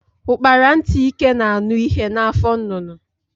Ukpara ntị ike na anụ ihe na afọ nnụnụ.